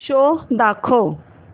show दाखव